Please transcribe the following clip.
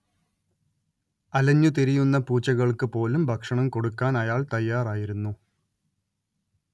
അലഞ്ഞ് തിരിയുന്ന പൂച്ചകൾക്ക് പോലും ഭക്ഷണം കൊടുക്കാൻ അയാള്‍ തയ്യാറായിരുന്നു